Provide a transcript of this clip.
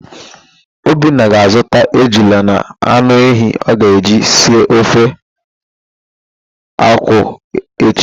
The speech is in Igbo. Obinna ga-azụta ejula na anụ ehi ọ ga-eji si ofe akwụ echi.